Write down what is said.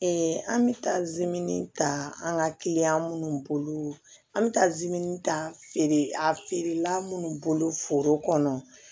an bɛ taa zi ta an ka kiliyan minnu bolo an bɛ taa zamɛ ta feere a feerela minnu bolo foro kɔnɔ